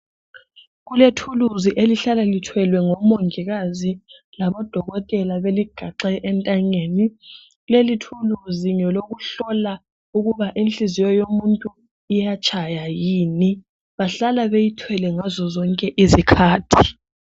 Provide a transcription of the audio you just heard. Kulethuluzi elihlala lithwelwe ngomongikazi labodokotela beligaxe entanyeni leli thuluzi ngelokuhlola ukuba inhliziyo yomuntu iyatshaya yini bahlala beyithwele ngazozonke izikhathi.